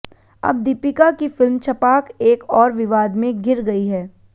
अब दीपिका की फिल्म छपाक एक और विवाद में घिर गई है